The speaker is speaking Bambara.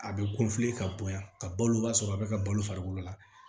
A bɛ ka bonya ka balo o b'a sɔrɔ a bɛ ka balo farikolo la